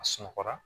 A sunɔgɔra